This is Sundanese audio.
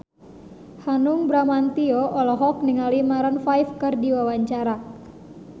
Hanung Bramantyo olohok ningali Maroon 5 keur diwawancara